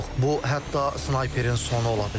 Bu hətta snayperin sonu ola bilər.